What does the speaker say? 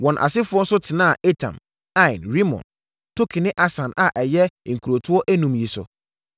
Wɔn asefoɔ nso tenaa Etam, Ain, Rimon, Token ne Asan a ɛyɛ nkurotoɔ enum yi so,